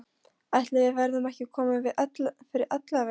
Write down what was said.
Ætli við verðum ekki komin fyrir ellefu.